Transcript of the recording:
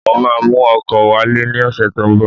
Mo máa mú ọkọ wálé ní ọ̀sẹ̀ tó ń bọ̀.